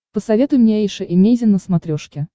посоветуй мне эйша эмейзин на смотрешке